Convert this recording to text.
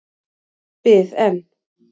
Bið en.